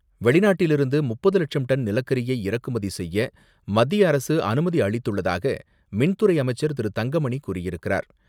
வெளிநாட்டிலிருந்து முப்பது லட்சம் டன் நிலக்கரியை இறக்குமதி செய்ய மத்திய அரசு அனுமதி அளித்துள்ளதாக மின் துறை அமைச்சர் திரு.தங்கமணி கூறி இருக்கிறார்.